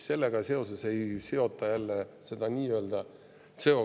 Seetõttu ei seota jällegi CO2, tekib mure sellega seoses.